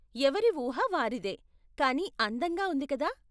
ఎవరి ఊహ వారిదే, కానీ అందంగా ఉంది కదా?